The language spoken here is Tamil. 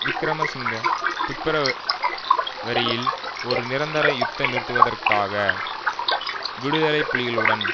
விக்கிரமசிங்க பிப்பிர வரியில் ஒரு நிரந்தர யுத்த நிறுத்தத்துக்காக விடுதலை புலிகளுடன்